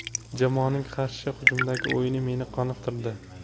Jamoaning qarshi hujumdagi o‘yini meni qoniqtirdi.